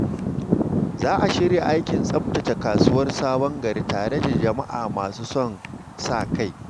Za a shirya aikin tsaftace kasuwar Sabon Gari tare da jama’a masu son sa-kai.